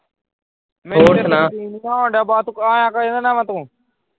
ਮੈਨੂੰ ਤੇ ਯਕੀਨ ਨਹੀਂ ਹੋ ਰਿਹਾ ਤੂੰ ਆਇਆ ਕੀਹਦੇ ਨਾਲ ਆ ਤੂੰ